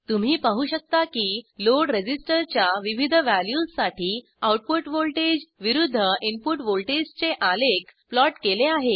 तुम्ही पाहू शकता की लोड रजिस्टरच्या विविध वॅल्यूजसाठी आऊटपुट व्हॉल्टेज विरूद्ध इनपुट व्हॉल्टेजचे आलेख प्लॉट केले आहे